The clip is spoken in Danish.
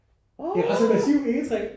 Åh